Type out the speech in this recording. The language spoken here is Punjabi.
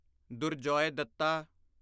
ਦੁਰਜੋਏ ਦੱਤਾ